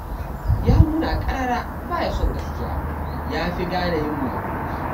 Ya nuna ƙarara ba ya son gaskiya, ya fi gane yin maguɗi.